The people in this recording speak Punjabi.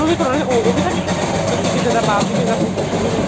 ਵੀ ਕਰੋਨਾ ਉਹ ਵੀ ਤਾਂ ਕਿਸੇ ਦੇ ਪੁੱਤ ਕਿਸੇ ਦਾ ਬਾਪ ਸੀ ਕਿਸੇ ਦਾ ਕੁੱਝ ਸੀ ਕਿਸੇ